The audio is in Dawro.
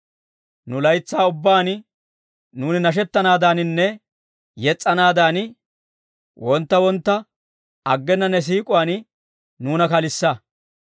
Nu laytsaa ubbaan nuuni nashettanaadaaninne yes's'anaadan, wontta wontta aggena ne siik'uwaan nuuna kalissa.